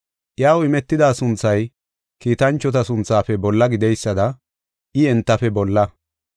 Iyaw imetida sunthay kiitanchota sunthafe bolla gideysada I entafe bolla.